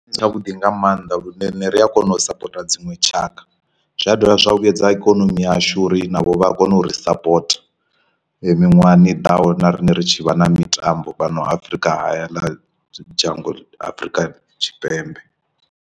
Ndi tshavhuḓi nga maanḓa lune rine ri a kona u sapota dziṅwe tshaka, zwia dovha zwa vhuyedza ikonomi yashu uri navho vha kone u ri sapota miṅwahani i ḓaho na riṋe ri tshi vha na mitambo fhano Afrika hayani ḽa dzhango Afrika Tshipembe.